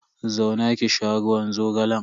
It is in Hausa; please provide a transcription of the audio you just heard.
Zauna ki sha ruwan zogalan.